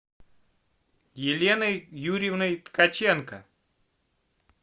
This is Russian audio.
еленой юрьевной ткаченко